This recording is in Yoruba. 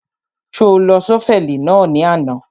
Ṣo lo ṣọ́fẹ̀lì náà ní àná?